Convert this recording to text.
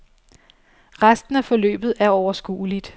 Resten af forløbet er overskueligt.